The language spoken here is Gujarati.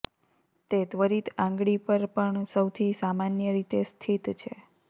તે ત્વરિત આંગળી પર પણ સૌથી સામાન્ય રીતે સ્થિત છે